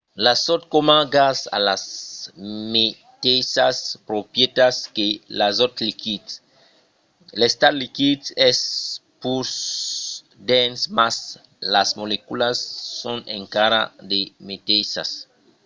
l'azòt coma gas a las meteissas proprietats que l'azòt liquid. l'estat liquid es pus dens mas las moleculas son encara las meteissas